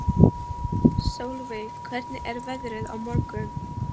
Solveig, hvernig er veðrið á morgun?